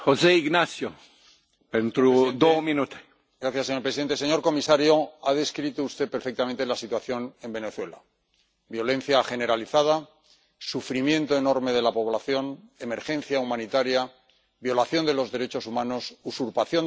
Señor presidente, señor comisario, ha descrito usted perfectamente la situación en Venezuela violencia generalizada, sufrimiento enorme de la población, emergencia humanitaria, violación de los derechos humanos, usurpación de la soberanía nacional y una deriva totalitaria.